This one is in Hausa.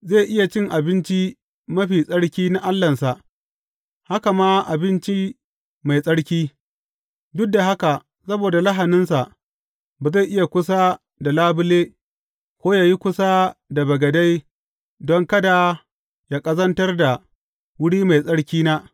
Zai iya cin abinci mafi tsarki na Allahnsa, haka ma abinci mai tsarki; duk da haka saboda lahaninsa, ba zai yi kusa da labule, ko yă yi kusa da bagade don kada yă ƙazantar da wuri mai tsarkina.